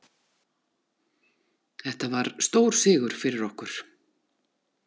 Þetta var stór sigur fyrir okkur.